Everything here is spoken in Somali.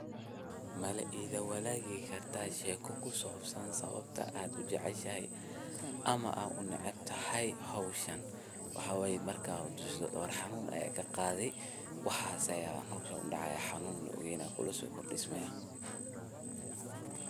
Mala etha walaley handa sheeka kusawansaboh, jaceshashay amah aa u naceebtahay ee hooshan waxaywaye marka mucjiso oo ega qaathi waxasi setha u so dacaya Ina kula so kordismayin.